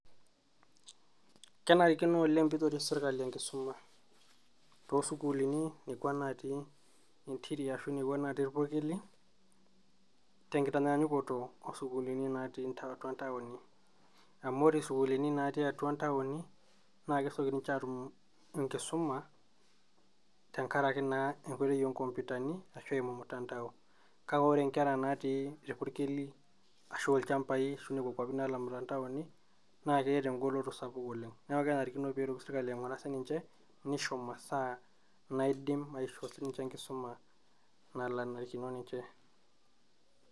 kenarikino oleng pitoris sirkali enkisuma, tosukuluni nekuaa natii interior arashu nekua natii ilpurkeli tenkitanyakukoto oosukuluni natii atua ntaoni amu ore sukuuluni natii ntaoni kesieki ninye atuum enkisuma tenkaraki enkoitoi oo mtandaon kake nkera natii ilpurkeli arashu ilchambai naa ketaa engoloto sapuk oleng neaku kenarikino sininye nisho maasaa naishoo enkisuma naalo anarikino ninje